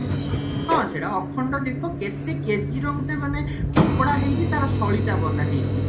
ହଁ ସେଟ ଅଖଣ୍ଡ ଦୀପ କେତେ KG ର ଗୋଟେ ମାନେ କପଡା ହେଇକି ତାର ସଳିତା ବନା ହେଇଚି